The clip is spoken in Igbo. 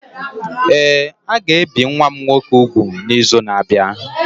Ee, a ga-ebi nwa m nwoke úgwù n'izu na-abịa.